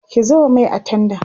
ki zuba Mai a tendan